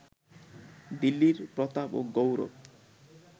দিল্লীর প্রতাপ ও গৌরব